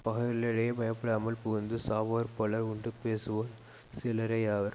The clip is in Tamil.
பகைவர்களுக்கிடையே பயப்படாமல் புகுந்து சாவோர் பலர் உண்டுபேசுவோர் சிலரேயாவர்